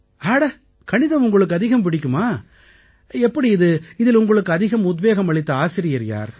அட கணிதம் உங்களுக்கு அதிகம் பிடிக்குமா எப்படி இது இதில் உங்களுக்கு அதிகம் உத்வேகம் அளித்த ஆசிரியர் யார்